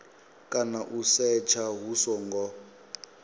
kana u setsha hu songo